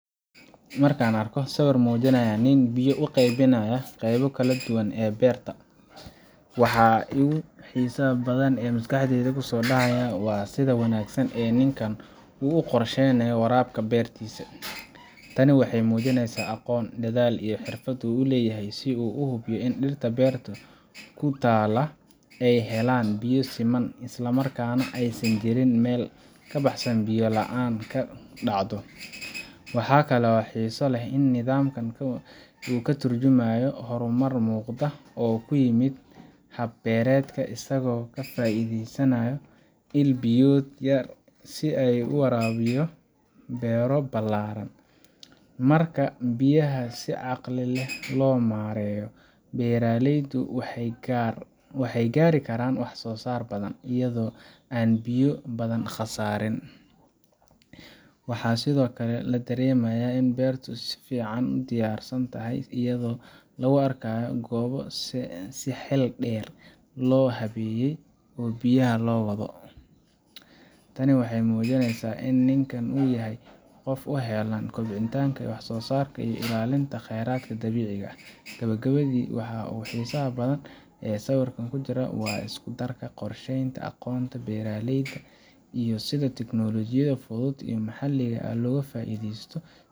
Marka aan arko sawirkan muujinaya nin biyo u qaybinaaya qaybo kala duwan oo beerta ah, waxa ugu xiisaha badan ee maskaxdayda ku soo dhacaya waa sida wanaagsan ee ninkan u qorsheeynayo waraabka beertiisa. Tani waxay muujinaysaa aqoon, dadaal, iyo xirfad uu leeyahay si uu u hubiyo in dhirta beerta ku taalla ay helaan biyo siman, isla markaana aysan jirin meel ka baxsan oo biyo la’aan ka dhacdo. Waxaa kale oo xiiso leh in nidaamkan uu ka tarjumayo horumar muuqda oo ku yimid hab-beereedka, isagoo ka faa’iidaysanaya il-biyood yar si uu u waraabiyo beero ballaaran. Marka biyaha si caqli leh loo maareeyo, beeraleydu waxay gaari karaan wax-soo-saar badan, iyadoo aan biyo badan khasaarin. Waxaa sidoo kale la dareemayaa in beertu ay si fiican u diyaarsan tahay, iyadoo lagu arkayo goobo si xeel dheer loo habeeyey oo biyaha loo wado. Tani waxay muujinaysaa in ninkan uu yahay qof u heelan kobcinta wax-soo-saarka iyo ilaalinta kheyraadka dabiiciga ah. Gabagabadii, waxa ugu xiisaha badan ee sawirkan ku jira waa isku-darka qorsheynta, aqoonta beeralayda, iyo sida teknolojiyad fudud oo maxalli ah looga faa’iidaysto